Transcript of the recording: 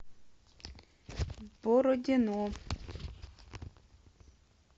бородино